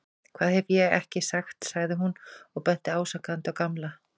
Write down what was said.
Hvað hef ég ekki sagt sagði hún og benti ásakandi á Gamla.